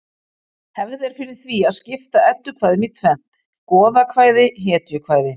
Hefð er fyrir því að skipta eddukvæðum í tvennt: goðakvæði hetjukvæði